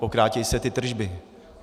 Pokrátí se ty tržby.